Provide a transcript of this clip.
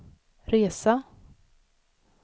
resa